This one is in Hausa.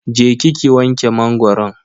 Je ki ki wanke mangoron.